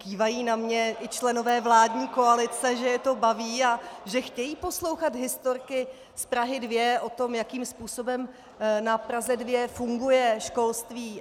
Kývají na mě i členové vládní koalice, že je to baví a že chtějí poslouchat historky z Prahy 2 o tom, jakým způsobem na Praze 2 funguje školství.